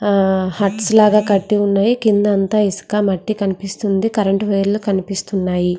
హట్లు లాగా కటి ఉన్నాయి. కిందంతా మట్టి ఇసుక కనిపిస్తుంది కరెంట్ వైర్ లు కనిపిస్తున్నాయి.